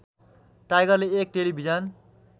टाइगरले एक टेलिभिजन